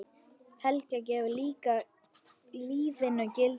Helga: Gefur lífinu gildi?